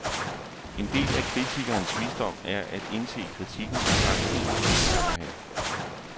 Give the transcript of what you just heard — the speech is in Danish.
En del af kritikerens visdom er at indse kritikkens begrænsninger, bemærker han.